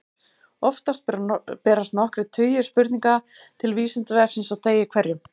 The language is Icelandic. Oftast berast nokkrir tugir spurninga til Vísindavefsins á degi hverjum.